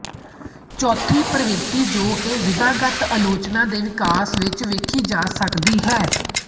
ਚੌਥੀ ਪ੍ਰਵਿਰਤੀ ਜੋ ਕਿ ਵਿਧਾਗਤ ਆਲੋਚਨਾ ਦੇ ਵਿਕਾਸ ਵਿੱਚ ਵੇਖੀ ਜਾ ਸਕਦੀ ਹੈ